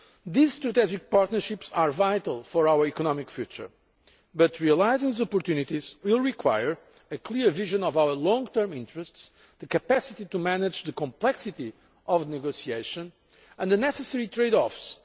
These strategic partnerships are vital to our economic future, but realising the opportunities will require a clear vision of our long term interests, as well as the capacity to manage complex negotiations, and the necessary trade offs.